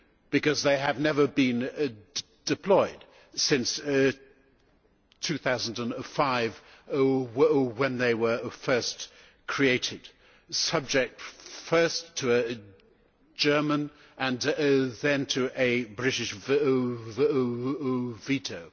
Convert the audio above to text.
because they have never been deployed since 2005 when they were first created, subject first to a German and then to a British veto.